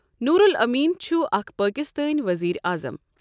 نور الامین چھُ اَکھ پٲکِستٲنؠ ؤزیٖرِ اَعظَم۔